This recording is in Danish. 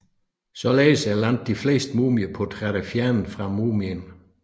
Således er langt de fleste mumieportrætter fjernet fra mumien